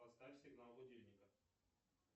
поставь сигнал будильника